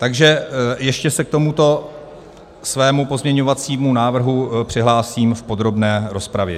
Takže ještě se k tomuto svému pozměňovacímu návrhu přihlásím v podrobné rozpravě.